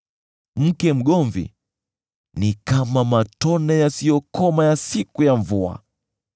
Mke mgomvi ni kama matone yasiyokoma ya siku ya mvua.